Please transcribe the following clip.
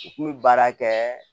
U kun bɛ baara kɛ